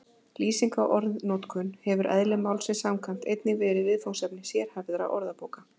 Lýsing á orðanotkun hefur eðli málsins samkvæmt einnig verið viðfangsefni sérhæfðra orðabóka.